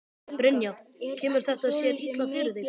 Brynja: Kemur þetta sér illa fyrir þig?